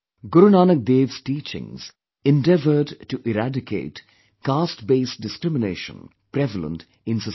Guru Nanak Dev's teachings endeavoured to eradicate caste based discrimination prevalent in society